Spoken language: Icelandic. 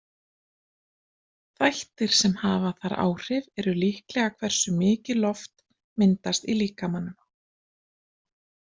Þættir sem hafa þar áhrif eru líklega hversu mikið loft myndast í líkamanum.